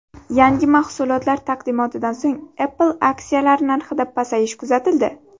Yangi mahsulotlar taqdimotidan so‘ng Apple aksiyalari narxida pasayish kuzatildi.